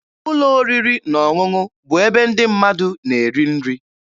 Ụlọ oriri na ọṅụṅụ bụ ebe ndị mmadụ na-eri nri.